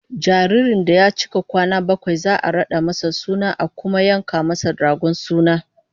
Jaririn da ya cika kwana bakwai za'a rada masa suna kuma a yanka masa dragon suna